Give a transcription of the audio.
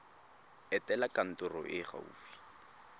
etela kantoro e e gaufi